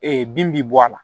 bin bɛ bɔ a la